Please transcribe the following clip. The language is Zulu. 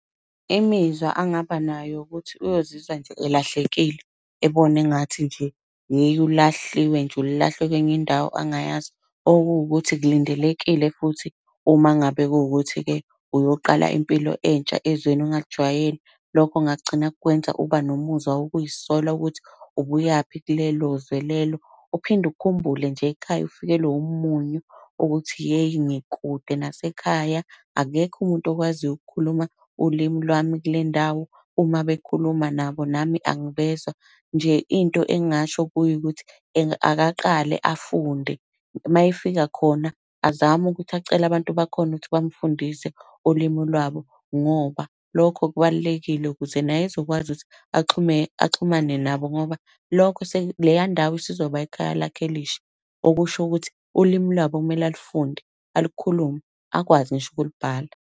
Imizwa angabanayo ukuthi uyozizwa nje elahlekile, ebona engathi nje yeyi ulahliwe nje, ulahlwe kwenye indawo angayazi. Okuwukuthi kulindelekile futhi uma ngabe kuwukuthi-ke uyoqala impilo entsha ezweni ongalijwayele. Lokho kungagcina kukwenza uba nomuzwa wokuy'sola ukuthi ubuyaphi kulelo zwe lelo. Uphinde ukhumbule nje ekhaya ufikelwe umunyu, ukuthi yeyi ngikude nasekhaya, akekho umuntu okwaziyo ukukhuluma ulimi lwami kule ndawo, uma bekhuluma nabo nami angibezwa. Nje into engingasho kuye ukuthi akaqale afunde. Mayefika khona, azame ukuthi acele abantu bakhona ukuthi bamufundise ulimi lwabo, ngoba lokho kubalulekile ukuze naye ezokwazi ukuthi axhume, axhumane nabo ngoba lokho leya ndawo isizoba ikhaya lakhe elisha. Okusho ukuthi ulimi lwabo kumele alufunde, alukhulume, akwazi ngisho ukulibhala.